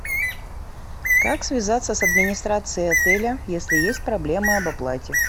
как связаться с администрацией отеля если есть проблемы об оплате